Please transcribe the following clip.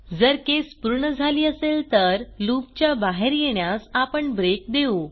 जर केस पूर्ण झाली असेल तर लूप च्या बाहेर येण्यास आपण ब्रेक देऊ